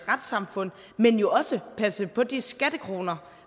retssamfund men jo også passe på de skattekroner